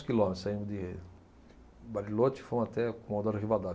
Quilômetros, saímos de Bariloche e fomos até Comodoro Rivadavia.